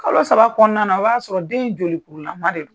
Kalo saba kɔnɔna na, o b'a sɔrɔ den in jolikurula de don.